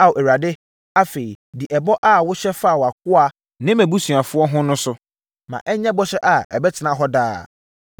“Ao Awurade, afei di ɛbɔ a wohyɛ faa wʼakoa ne ne mʼabusuafoɔ ho no so. Ma ɛnyɛ bɔhyɛ a ɛbɛtena hɔ daa.